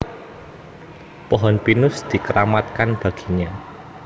Pohon pinus dikeramatkan baginya